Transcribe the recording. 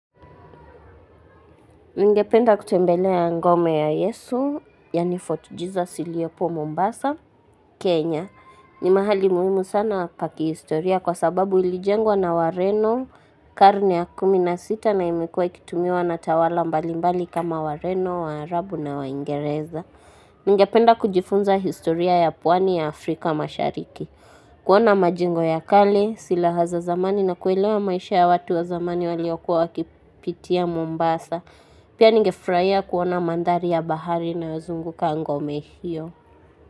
Ningependa kutembelea ngome ya Yesu, yaani Fort Jesus iliopo Mombasa, Kenya. Ni mahali muhimu sana pa kihistoria kwa sababu ilijengwa na wareno karne ya kumi na sita na imekua ikitumiwa na tawala mbalimbali kama wareno, waarabu na waingereza. Ningependa kujifunza historia ya puwani ya Afrika mashariki. Kuona majengo ya kale silaha za zamani na kuelewa maisha ya watu wa zamani waliokua wakipitia Mombasa. Pia ningefurahia kuona mandhari ya bahari na wazungu kwa ngome hiyo.